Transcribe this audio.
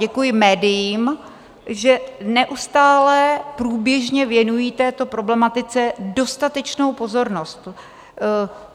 Děkuji médiím, že neustále, průběžně věnují této problematice dostatečnou pozornost.